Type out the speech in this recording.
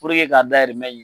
Puruke k'a dayirimɛ